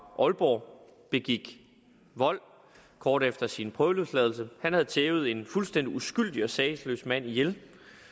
aalborg begik vold kort efter sin prøveløsladelse han havde tævet en fuldstændig uskyldig og sagesløs mand ihjel